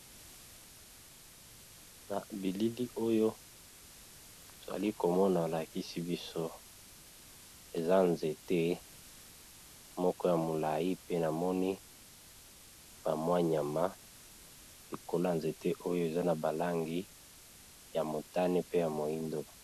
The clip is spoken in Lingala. Na bilili oyo tozali komona alakisi biso eza nzete moko ya molayi pe namoni ba mwa nyama likolo ya nzete oyo eza na ba langi ya motane pe ya moyindo.